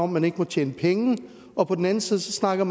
man ikke må tjene penge og på den anden side snakker